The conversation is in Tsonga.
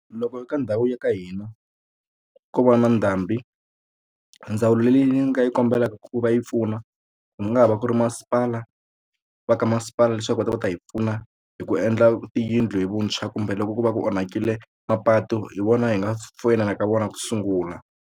Loko ka ndhawu ya ka hina ko va na ndhambi ndzawulo leyi nga yi kombelaka ku va yi pfuna ku nga ha va ku ri masipala va ka masipala leswaku va ta va ta hi pfuna hi ku endla tiyindlu hi vuntshwa kumbe loko ko va ku onhakile mapatu hi vona hi nga foyinelaka vona ku sungula.